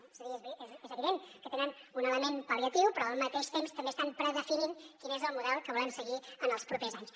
és a dir és evident que tenen un element pal·liatiu però al mateix temps també estan predefinint quin és el model que volem seguir en els propers anys